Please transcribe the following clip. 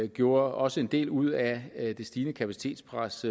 gjorde også en del ud af at det stigende kapacitetspres